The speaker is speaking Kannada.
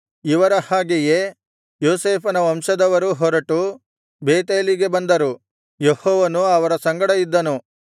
ಇವರ ಹಾಗೆಯೇ ಯೋಸೇಫನ ವಂಶದವರೂ ಹೊರಟು ಬೇತೇಲಿಗೆ ಬಂದರು ಯೆಹೋವನು ಅವರ ಸಂಗಡ ಇದ್ದನು